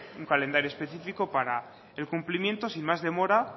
un calendario específico para el cumplimiento sin más demora